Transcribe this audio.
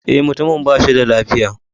Eh, mutumin ba shi da lafiya.